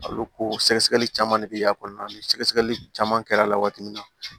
A bɛ ko sɛgɛsɛgɛli caman de bɛ y'a kɔnɔna na ni sɛgɛsɛgɛli caman kɛra a la waati min na